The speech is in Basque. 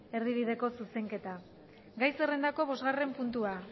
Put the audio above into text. erdibideko zerrenda gai zerrendako bosgarren puntua